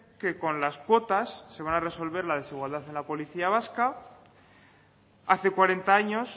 que con las cuotas se van a resolver la desigualdad en la policía vasca hace cuarenta años